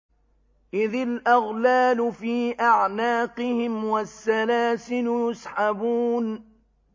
إِذِ الْأَغْلَالُ فِي أَعْنَاقِهِمْ وَالسَّلَاسِلُ يُسْحَبُونَ